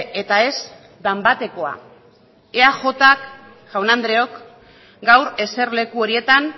eta ez danbatekoa eajk jaun andreak gaur eserleku horietan